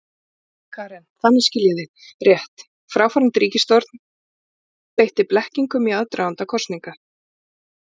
Karen: Þannig, skil ég þig rétt, fráfarandi ríkisstjórn beitti blekkingum í aðdraganda kosninga?